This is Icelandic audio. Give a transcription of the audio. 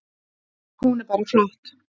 Hún er bara flott.